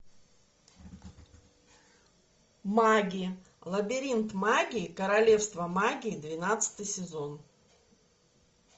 маги лабиринт магии королевство магии двенадцатый сезон